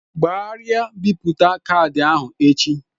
Gbarịa bipụta caadi ahụ echi!